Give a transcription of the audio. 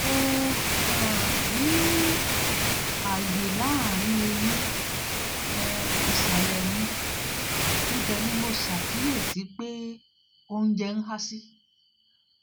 mo um ní àyè láàárín eyín um ìsàlẹ̀ mi ibẹ̀ ni mo ṣàkíyèsí pé oúnjẹ ń há sí